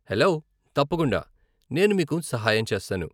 Hello, తప్పకుండా, నేను మీకు సహాయం చేస్తాను.